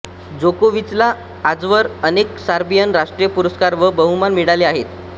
जोकोविचला आजवर अनेक सर्बियन राष्ट्रीय पुरस्कार व बहुमान मिळाले आहेत